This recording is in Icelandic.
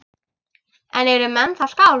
En eru menn þá skáld?